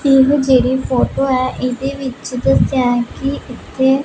ਇਹ ਜਿਹੜੀ ਫ਼ੋਟੋ ਹੈ ਇਹਦੇ ਵਿੱਚ ਦੱਸਿਆ ਹੈ ਕਿ ਇੱਥੇ--